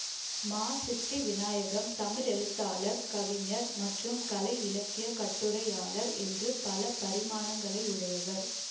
மா சித்தி வினாயகம் தமிழ் எழுத்தாளர் கவிஞர் மற்றும் கலை இலக்கியக் கட்டுரையாளர் என்ற பல பரிமாணங்களையுடையவர்